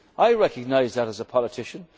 the Lisbon Treaty. I recognise that